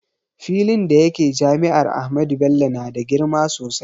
Filin da yake jami'ar Ahmadu Bello na da girma sosai